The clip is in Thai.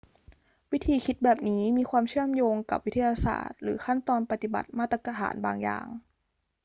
วิธีคิดแบบนี้มีความเชื่อมโยงกับวิทยาศาสตร์หรือขั้นตอนปฏิบัติมาตรฐานบางอย่าง